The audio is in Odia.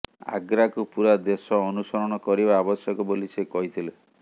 ଆଗ୍ରାକୁ ପୂରା ଦେଶ ଅନୁସରଣ କରିବା ଆବଶ୍ୟକ ବୋଲି ସେ କହିଥିଲେ